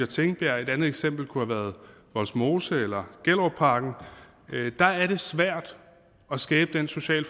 tingbjerg et andet eksempel kunne have været vollsmose eller gellerupparken der er det svært at skabe den sociale